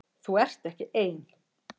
Þú ert ekki ein.